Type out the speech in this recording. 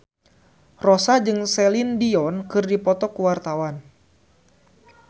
Rossa jeung Celine Dion keur dipoto ku wartawan